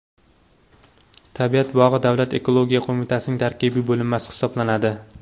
Tabiat bog‘i Davlat ekologiya qo‘mitasining tarkibiy bo‘linmasi hisoblanadi.